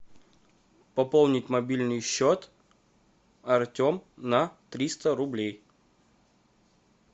пополнить мобильный счет артем на триста рублей